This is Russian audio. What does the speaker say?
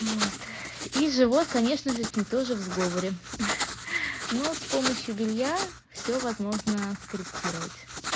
вот и живот конечно же с ней тоже в сговоре но с помощью белья все возможно скорректировать